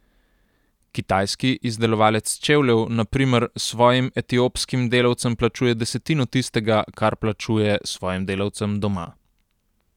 Kitajski izdelovalec čevljev, na primer, svojim etiopskim delavcem plačuje desetino tistega, kar plačuje svojim delavcem doma.